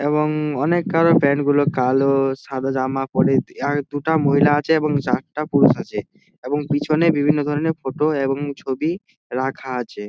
এবং অনেক কারো প্যান্ট গুলো কালো-ও সাদা জামা পরে আর দুটা মহিলা আছে এবং চারটা পুরুষ আছে এবং পিছনে বিভিন্ন ধরণের ফটো এবং ছবি রাখা আছে।